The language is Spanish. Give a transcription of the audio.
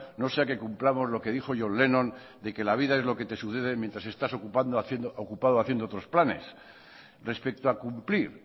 no sea que cumplamos lo que nos dijo john lennon de que la vida es lo que te sucede mientras estás ocupado haciendo otros planes respecto a cumplir